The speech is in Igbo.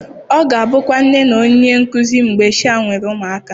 Ọ ga-abụkwa nne na onye nkuzi mgbe sha nwere ụmụaka